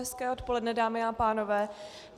Hezké odpoledne, dámy a pánové.